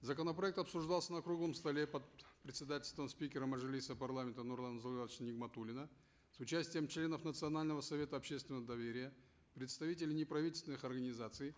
законопроект обсуждался на круглом столе под председательством спикера мажилиса парламента нурлана зайроллаевича нигматуллина с участием членов национального совета общественного доверия представителей неправительственных организаций